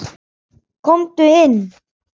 Komdu inn.